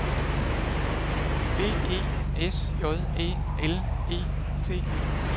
B E S J Æ L E T